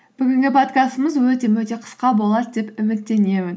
бүгінгі подкастымыз өте мөте қысқа болады деп үміттенемін